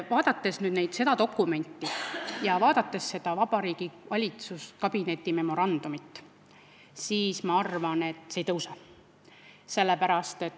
Vaadates seda dokumenti ja valitsuskabineti memorandumit, arvan ma, et need ei tõuse.